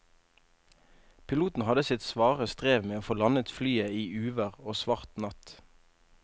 Piloten hadde sitt svare strev med å få landet flyet i uvær og svart natt.